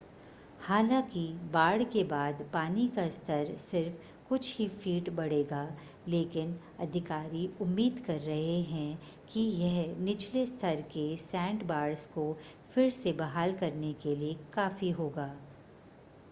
हालांकि बाढ़ के बाद पानी का स्तर सिर्फ़ कुछ ही फ़ीट बढ़ेगा लेकिन अधिकारी उम्मीद कर रहे हैं कि यह निचले स्तर के सैंडबार्स को फिर से बहाल करने के लिए काफ़ी होगा